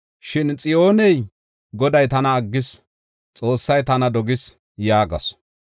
Shin Xiyooney, “Goday tana aggis; Xoossay tana dogis” yaagasu.